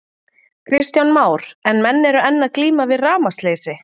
Kristján Már: En menn eru enn að glíma við rafmagnsleysi?